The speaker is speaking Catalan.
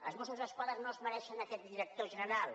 els mossos d’esquadra no es mereixen aquest director general